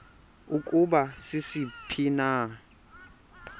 ukuba sisiphi na